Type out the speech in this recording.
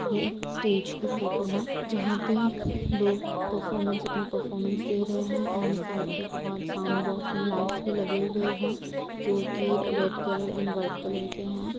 ये एक स्टेज की फोटो है जहां पे लोग परफॉर्मेंस अपनी परफॉर्मेंस दे रहे हैं एण्ड साइड पे बहुत साउंड बॉक्स एण्ड लइट्स भी लगे हुए हैं जो की red colour and white colour के हैं ।